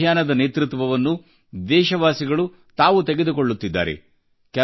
ಈ ಅಭಿಯಾನದ ನೇತೃತ್ವವನ್ನು ದೇಶವಾಸಿಗಳು ತಾವು ತೆಗೆದುಕೊಳ್ಳುತ್ತಿದ್ದಾರೆ